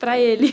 Para ele?